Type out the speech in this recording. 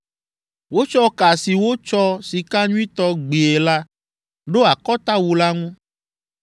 Wotsɔ ka si wotsɔ sika nyuitɔ gbie la ɖo akɔtawu la ŋu.